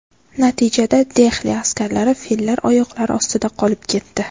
Natijada, Dehli askarlari fillar oyoqlari ostida qolib ketdi.